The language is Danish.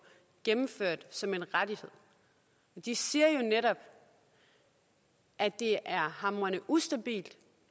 gennemført som en rettighed de siger jo netop at det er hamrende ustabilt